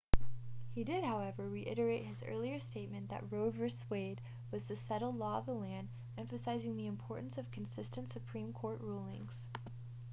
he did however reiterate his earlier statement that roe v wade was the settled law of the land emphasizing the importance of consistent supreme court rulings